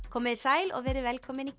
komiði sæl og verið velkomin í